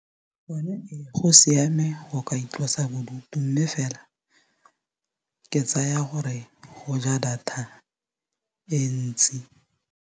Go ne ee go siame go ka itlosa bodutu mme fela ke tsaya gore go ja data e ntsi.